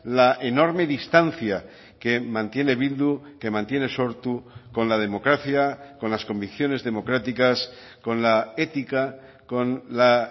la enorme distancia que mantiene bildu que mantiene sortu con la democracia con las convicciones democráticas con la ética con la